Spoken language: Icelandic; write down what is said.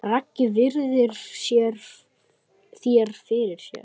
Raggi virðir þær fyrir sér.